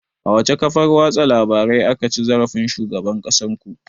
A wace kafar watsa labarai aka ci zarafin shugaban ƙasar ku?